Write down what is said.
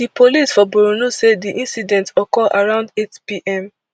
di police for borno say di incident occur around eightpm